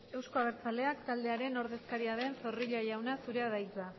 euzko abertzaleak taldearen ordezkaria den zorrilla jauna zurea da hitza